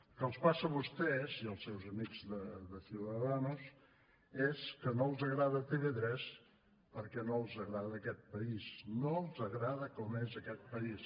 el que els passa a vostès i als seus amics de ciudadanos és que no els agrada tv3 perquè no els agrada aquest país no els agrada com és aquest país